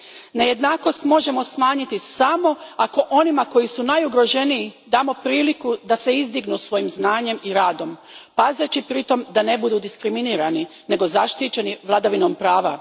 Nejednakost možemo smanjiti samo ako onima koji su najugroženiji damo priliku da se izdignu svojim znanjem i radom, pazeći pritom da ne budu diskriminirani, nego zaštićeni vladavinom prava.